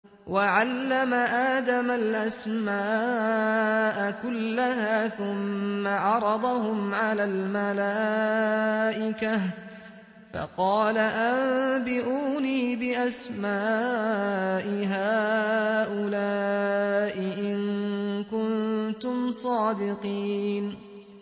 وَعَلَّمَ آدَمَ الْأَسْمَاءَ كُلَّهَا ثُمَّ عَرَضَهُمْ عَلَى الْمَلَائِكَةِ فَقَالَ أَنبِئُونِي بِأَسْمَاءِ هَٰؤُلَاءِ إِن كُنتُمْ صَادِقِينَ